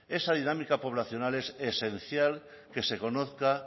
esa dinámica poblacional es esencial que se conozca